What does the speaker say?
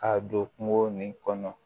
Ka don kungo nin kɔnɔ